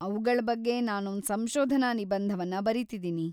ಅವುಗಳ್‌ ಬಗ್ಗೆ ನಾನೊಂದ್‌ ಸಂಶೋಧನಾ ನಿಬಂಧವನ್ನ ಬರೀತಿದೀನಿ.